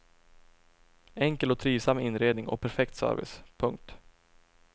Enkel och trivsam inredning och perfekt service. punkt